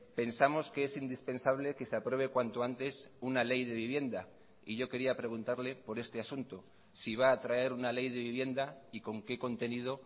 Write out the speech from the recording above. pensamos que es indispensable que se apruebe cuanto antes una ley de vivienda y yo quería preguntarle por este asunto si va a traer una ley de vivienda y con qué contenido